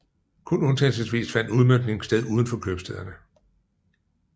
Kun undtagelsesvis fandt udmøntning sted uden for købstæderne